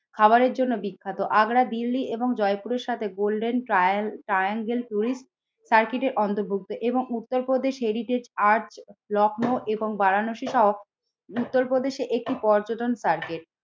খাবারের জন্য বিখ্যাত। আগ্রা দিল্লি এবং জয়পুরের সাথে গোল্ডেন ট্রায়াল ট্রায়াঙ্গেল টুরিস্ট সার্কিটে অন্তর্ভুক্ত এবং উত্তরপ্রদেশ হেরিটেজ আর্চ লখনৌ এবং বারাণসী সহ উত্তরপ্রদেশে একটি পর্যটন টার্গেট।